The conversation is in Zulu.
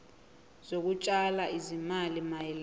zokutshala izimali mayelana